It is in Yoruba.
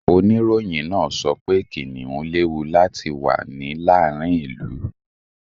Oníròyìn náà sọ pé kìnnìún léwu láti wà ní làárin ìlú.